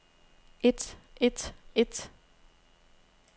et et et